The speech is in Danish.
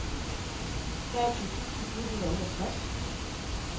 treogtyve tusind fire hundrede og otteogtres